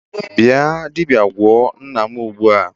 Bia dibia gwo nnam ugbua